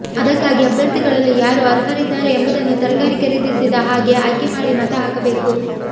ಅದಕ್ಕಾಗಿ ಅಭ್ಯರ್ಥಿಗಳಲ್ಲಿ ಯಾರು ಅರ್ಹರಿದ್ದಾರೆ ಎಂಬುದನ್ನು ತರಕಾರಿ ಖರೀದಿಸಿದ ಹಾಗೆ ಆಯ್ಕೆಮಾಡಿ ಮತ ಹಾಕಬೇಕು